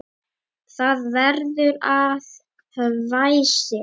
Það verður að hvæsi.